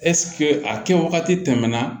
ɛsike a kɛ wagati tɛmɛnɛna